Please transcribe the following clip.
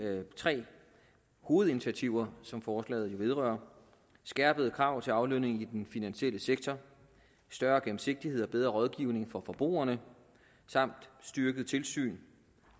tre hovedinitiativer som forslaget jo vedrører skærpede krav til aflønningen i den finansielle sektor større gennemsigtighed og bedre rådgivning for forbrugerne samt styrket tilsyn